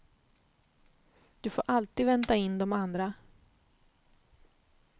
Du får alltid vänta in de andra.